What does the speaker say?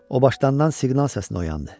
O başdanğan siqnal səsinə oyandı.